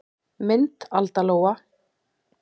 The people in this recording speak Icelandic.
Mynd Alda Lóa.